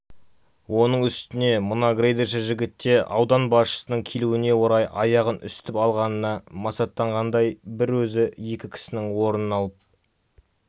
оның үстіне мына грейдерші жігіт те аудан басшысының келуіне орай аяғын үсітіп алғанына масаттанғандай бір өзі екі кісінің орнын алып